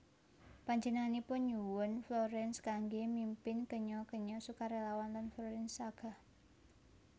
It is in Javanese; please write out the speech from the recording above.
Panjenenganipun nyuwun Florence kanggé mimpin kenya kenya sukarelawan lan Florence sagah